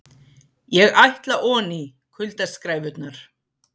ÉG ÆTLA ONÍ, KULDASKRÆFURNAR